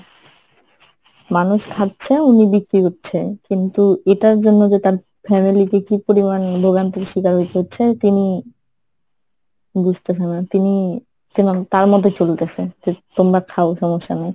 মানুষ খাচ্ছে উনি বিক্রি করছে কিন্তু এটার জন্য যে তার family তে কি পরিমান ভোগান্তির শিকার হইতে হচ্ছে তিনি বোঝতেছে না তিনি তার মতোই চলতেসে যে তোমরা খাও সমস্যা নাই।